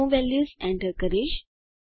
હું values enter કરીશ